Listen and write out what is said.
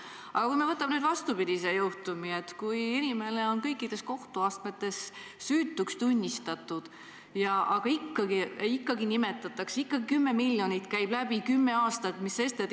Aga kui me võtame vastupidise juhtumi: inimene on kõikides kohtuastmetes süütuks tunnistatud, aga ikkagi räägitakse juba kümme aastat kümnest miljonist dollarist.